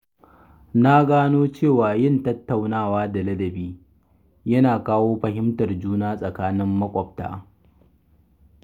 Na gano cewa yin tattaunawa da ladabi yana kawo fahimtar juna tsakanin maƙwabta.